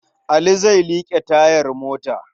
Ali zai liƙe tayar mota.